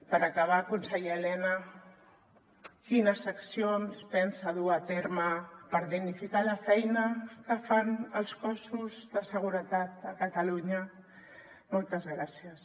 per acabar conseller elena quines accions pensa dur a terme per dignificar la feina que fan els cossos de seguretat a catalunya moltes gràcies